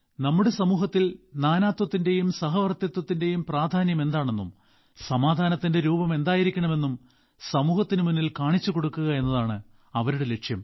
നമ്മുടെ സമൂഹത്തിൽ നാനാത്വത്തിന്റെയും സഹവർത്തിത്ത്വത്തിന്റെയും പ്രാധാന്യം എന്താണെന്നും സമാധാനത്തിന്റെ രൂപം എന്തായിരിക്കണം എന്നും സമൂഹത്തിനു മുന്നിൽ കാണിച്ചു കൊടുക്കുക എന്നതാണ് അവരുടെ ലക്ഷ്യം